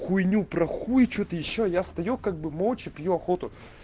хуйню про хуй что то ещё я стою как бы молча пью охоту